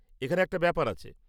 এখানে একটা ব্যাপার আছে।